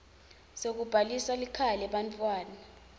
sekubhalisa likhaya lebantfwana